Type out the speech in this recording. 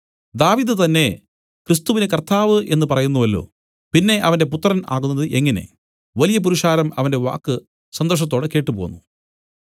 ദാവീദ് തന്നേ ക്രിസ്തുവിനെ കർത്താവ് എന്നു പറയുന്നുവല്ലോ പിന്നെ അവന്റെ പുത്രൻ ആകുന്നത് എങ്ങനെ വലിയ പുരുഷാരം അവന്റെ വാക്ക് സന്തോഷത്തോടെ കേട്ടുപോന്നു